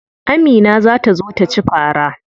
Amina za ta zo taci fara.